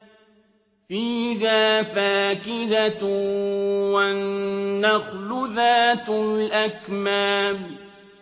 فِيهَا فَاكِهَةٌ وَالنَّخْلُ ذَاتُ الْأَكْمَامِ